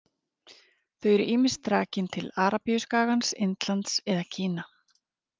Þau eru ýmist rakin til Arabíuskagans, Indlands eða Kína.